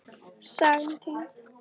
Sagan týnd.